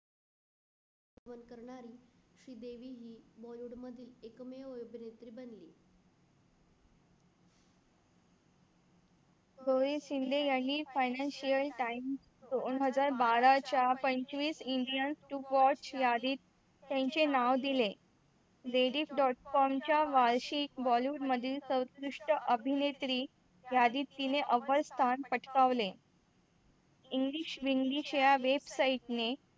Ladies. com च्या वारसी bollywood मधील सर्वोत्कृष्ट अभिनेत्री यादीत तिने अवलंब स्थान पटकावले English Weeglish website ने